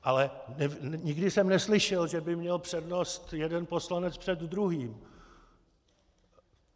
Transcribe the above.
Ale nikdy jsem neslyšel, že by měl přednost jeden poslanec před druhým.